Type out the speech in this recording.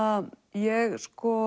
ég